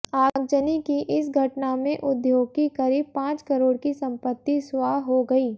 आगजनी की इस घटना में उद्योग की करीब पांच करोड़ की संपत्ति स्वाह हो गई